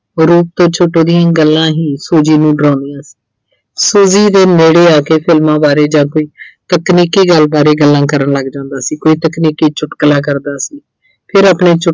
ਤੋਂ ਦੀਆਂ ਗੱਲਾਂ ਹੀ Suji ਨੂੰ ਡਰਾਉਂਦੀਆਂ ਸੀ। Suji ਦੇ ਨੇੜੇ ਆ ਕੇ ਫ਼ਿਲਮਾਂ ਬਾਰੇ ਜਦ ਵੀ ਤਕਨੀਕੀ ਗੱਲ ਬਾਰੇ ਗੱਲਾਂ ਕਰਨ ਲੱਗ ਜਾਂਦਾ ਸੀ। ਕੋਈ ਤਕਨੀਕੀ ਚੁਟਕਲਾ ਕਰਦਾ ਸੀ। ਫਿਰ ਆਪਣੇ